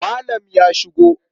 Malam ya shigo.